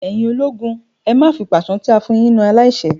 Ẹ̀yin ológun, ẹ má fi pàṣán táa fún un yín na aláìṣẹ̀!